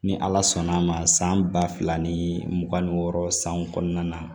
Ni ala sɔnna a ma san ba fila ni mugan ni wɔɔrɔ san kɔnɔna na